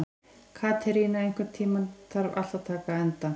Katerína, einhvern tímann þarf allt að taka enda.